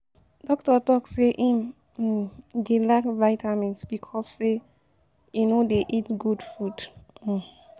Doctor talk say im um dey lack vitamin because say he no dey eat good food um.